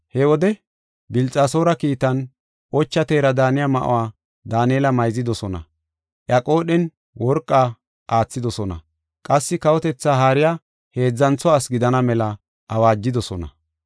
He wode, Bilxasoora kiitan, ocha teera daaniya ma7uwa Daanela mayzidosona; iya qoodhen worqa aathidosona; qassi kawotetha haariya heedzantho asi gidana mela awaajidosona.